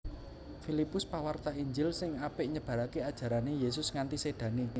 Filipus pawarta Injil sing apik nyebaraké ajarané Yésus nganti sédané